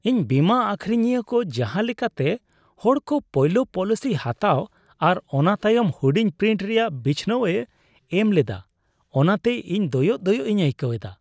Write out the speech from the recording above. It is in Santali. ᱤᱧ ᱵᱤᱢᱟᱹ ᱟᱹᱠᱷᱨᱤᱧᱤᱭᱟᱹ ᱠᱚ ᱡᱟᱦᱟᱸ ᱞᱮᱠᱟᱛᱮ ᱦᱚᱲ ᱠᱚ ᱯᱳᱭᱞᱳ ᱯᱚᱞᱤᱥᱤ ᱦᱟᱛᱟᱣ ᱟᱨ ᱚᱱᱟ ᱛᱟᱭᱚᱢ ᱦᱩᱰᱤᱧ ᱯᱨᱤᱱᱴ ᱨᱮᱭᱟᱜ ᱵᱤᱪᱷᱱᱟᱹᱣ ᱮ ᱮᱢ ᱞᱮᱫᱟ, ᱚᱱᱟᱛᱮ ᱤᱧ ᱫᱚᱭᱚᱜ ᱫᱚᱭᱚᱜ ᱤᱧ ᱟᱹᱭᱠᱟᱹᱣ ᱮᱫᱟ ᱾